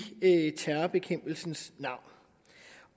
terrorbekæmpelsens navn